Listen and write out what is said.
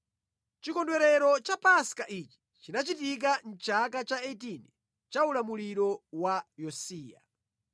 Chikondwerero cha Paska ichi chinachitika mʼchaka cha 18 cha ulamuliro wa Yosiya.